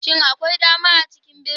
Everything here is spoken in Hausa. Shin akwai dama a cikin birni?